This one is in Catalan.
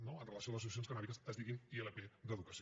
no amb relació a les associacions cannàbiques o es diguin ilp d’educació